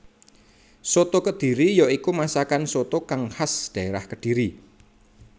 Soto kediri ya iku masakan soto kang khas dhaérah Kediri